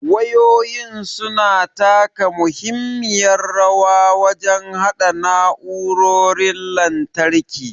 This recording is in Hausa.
Wayoyin su na taka muhimmiyar rawa wajen haɗa na'urorin lantarki.